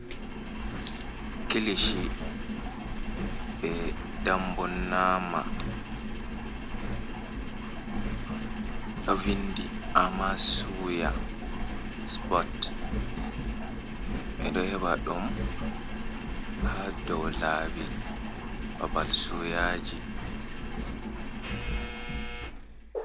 Kilishi be dambo nama, ɗo vindi ama suya supot ɓe ɗo heba ɗum ha dow labi babal suyaji.